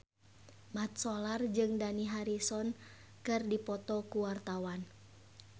Mat Solar jeung Dani Harrison keur dipoto ku wartawan